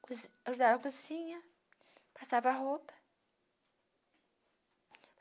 cozi ajudava na cozinha, passava a roupa.